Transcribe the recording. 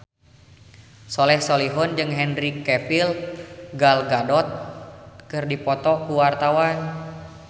Soleh Solihun jeung Henry Cavill Gal Gadot keur dipoto ku wartawan